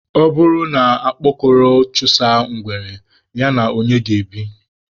Ọ bụrụ na okpokoro chụsaa ngwere, ya na onye ga-ebi?